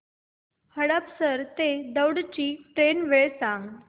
हडपसर ते दौंड ची ट्रेन वेळ सांग